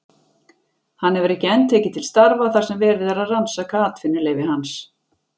Hann hefur ekki enn tekið til starfa þar sem verið er að rannsaka atvinnuleyfi hans.